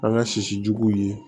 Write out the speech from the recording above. An ka sisi juguw ye